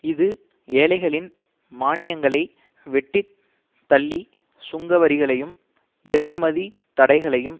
இது ஏழைகளின் மானியங்களை வெட்டி தள்ளி சுங்க வரிகளையும் இறக்குமதி தடைகளையும்